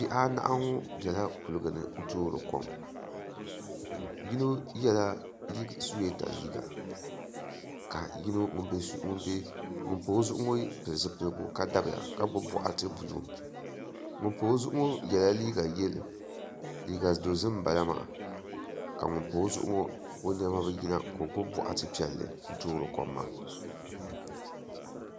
Bihi anahi ŋo biɛla kuligi ni n toori kom bia yino ŋo yɛla suyeeta liiga ka ŋun pa o zuɣu ŋo pili zipiligu ka dabiya ka gbubi boɣati buluu ŋun pa o zuɣu ŋo yɛla liiga dozim ka ŋun pa o zuɣu ŋo o niɛma bi yina ka o gbubi boɣati piɛlli n toori kom maa